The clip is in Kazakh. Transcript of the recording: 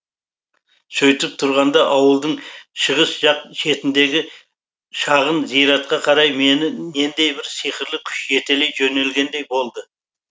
сөйтіп тұрғанда ауылдың шығыс жақ шетіндегі шағын зиратқа қарай мені нендей бір сиқырлы күш жетелей жөнелгендей болды